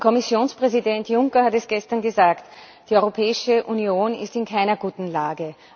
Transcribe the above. Der Kommissionspräsident Juncker hat es gestern gesagt Die Europäische Union ist in keiner guten Lage.